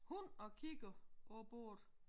Hund og kigger på bordet